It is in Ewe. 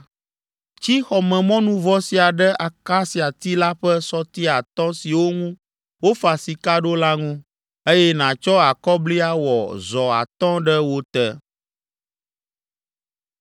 Tsi xɔmemɔnuvɔ sia ɖe akasiati la ƒe sɔti atɔ̃ siwo ŋu wofa sika ɖo la ŋu, eye nàtsɔ akɔbli awɔ zɔ atɔ̃ ɖe wo te.”